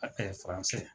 A